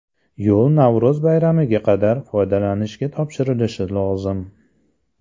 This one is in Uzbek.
Yo‘l Navro‘z bayramiga qadar foydalanishga topshirilishi lozim.